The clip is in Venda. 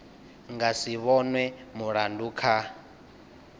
nga si vhonwe mulandu kana